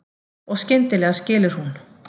Og skyndilega skilur hún.